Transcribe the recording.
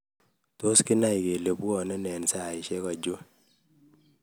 tos kinai kole buani eng saishek